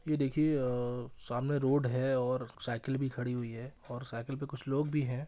ये देखिए सामने रोड है और साइकिल भी खड़े हुई है और साइकिल पे कुछ लोग भी है।